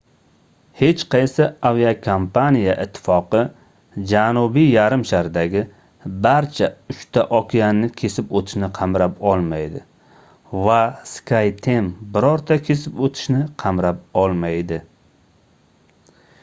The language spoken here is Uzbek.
hech qaysi aviakompaniya ittifoqi janubiy yarimshardagi barcha uchta okeanni kesib o'tishni qamrab olmaydi va skyteam birorta kesib o'tishni qamrab olmaydi